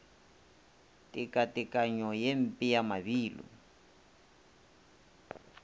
tekatekanyo ye mpe ya mabilo